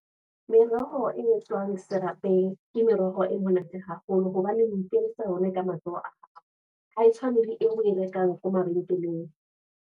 Meroho e tswang serapeng, ke meroho e monate haholo. Hoba o ikenyetsa yona ka matsoho a hao, ha e tshwane le eo o e rekang ko mabenkeleng.